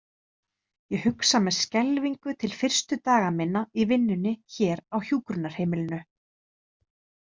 Ég hugsa með skelfingu til fyrstu daga minna í vinnunni hér á hjúkrunarheimilinu.